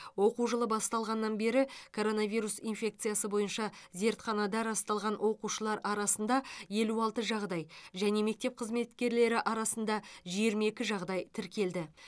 оқу жылы басталғаннан бері коронавирус инфекциясы бойынша зертханада расталған оқушылар арасында елу алты жағдай және мектеп қызметкерлері арасында жиырма екі жағдай тіркелді